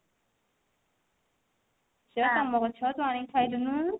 ସେଟା ତମ ଗଛ ତୁ ଆଣିକି ଖାଇଦଉନୁ